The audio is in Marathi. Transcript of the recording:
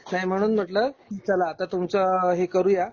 नाही म्हणून म्हटलं चला आता तुमच हे करूया